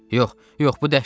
Yox, yox, bu dəhşətdir.